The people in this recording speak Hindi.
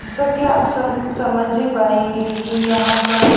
जैसा की आप समझ ही पाएंगे की यहां पर--